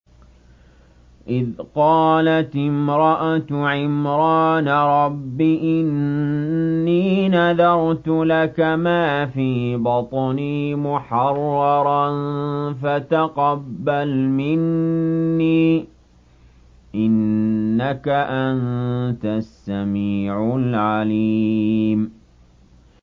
إِذْ قَالَتِ امْرَأَتُ عِمْرَانَ رَبِّ إِنِّي نَذَرْتُ لَكَ مَا فِي بَطْنِي مُحَرَّرًا فَتَقَبَّلْ مِنِّي ۖ إِنَّكَ أَنتَ السَّمِيعُ الْعَلِيمُ